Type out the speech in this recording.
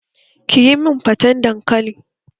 Kiyi min faten dankali!